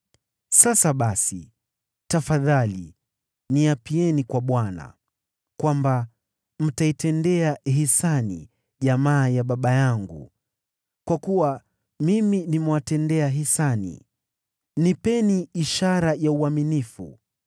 Sasa basi, tafadhali niapieni kwa Bwana , kwamba mtaitendea hisani jamaa ya baba yangu, kwa kuwa mimi nimewatendea hisani. Nipeni ishara ya uaminifu